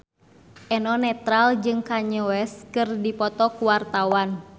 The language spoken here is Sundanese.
Eno Netral jeung Kanye West keur dipoto ku wartawan